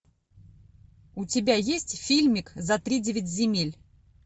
у тебя есть фильмик за тридевять земель